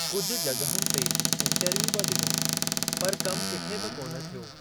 कुझु जग॒हुनि ते इंटरव्यू बि डि॒नो , पर कम किथे बि कोन थियो।